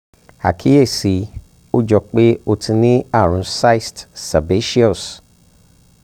àkíyèsí ó jọ pé ó ti ní àrùn cyst sebaceous